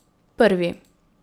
Prvi.